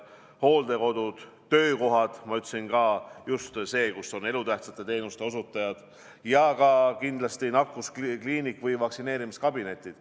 Siis tulevad hooldekodud ja töökohad, nagu ma ütlesin, just need kohad, kus on elutähtsate teenuste osutajad, samuti kindlasti nakkuskliinik või vaktsineerimiskabinetid.